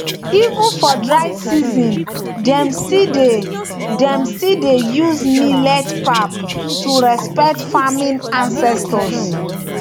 even for dry season dem still dey dem still dey use millet pap to respect farming ancestors